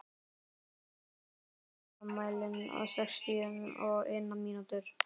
Alís, stilltu tímamælinn á sextíu og eina mínútur.